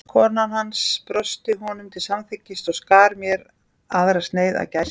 Kona hans brosti honum til samþykkis og skar mér aðra sneið af gæsinni.